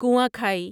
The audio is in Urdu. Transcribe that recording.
کنواں کھائی